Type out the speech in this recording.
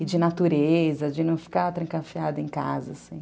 E de natureza, de não ficar trancafiada em casa, assim.